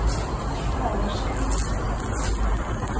Það var skrýtið.